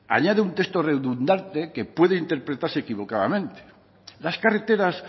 añade un texto redundante que puede interpretarse equivocadamente las carreteras